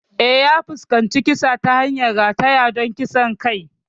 Eh, ya fuskanci kisa ta hanyar rataya don kisan kai.